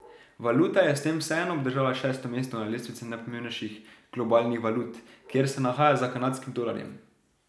Valuta je s tem vseeno obdržala šesto mesto na lestvici najpomembnejših globalnih valut, kjer se nahaja za kanadskim dolarjem.